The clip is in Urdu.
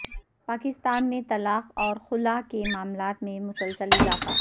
پاکستان میں طلاق اور خلع کے معاملات میں مسلسل اضافہ